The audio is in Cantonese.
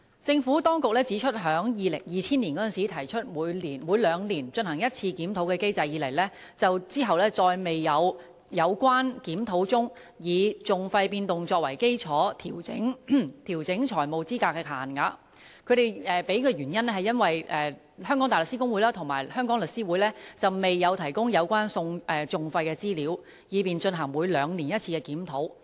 政府當局指出，自2000年提出每兩年進行一次檢討的機制，當局再沒有在檢討中以訟費變動作為基礎來調整財務資格限額，原因是香港大律師公會和香港律師會未有提供有關訟費的資料，以便進行每兩年一次的檢討。